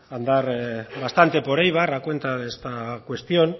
andar bastante por eibar a cuenta de esta cuestión